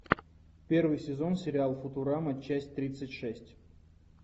первый сезон сериал футурама часть тридцать шесть